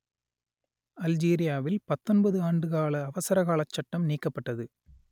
அல்ஜீரியாவில் பத்தொன்பது ஆண்டு கால அவசரகாலச் சட்டம் நீக்கப்பட்டது